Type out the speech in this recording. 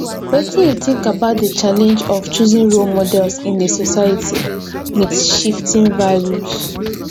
wetin you think about di challenge of choosing role models in a society with shifting values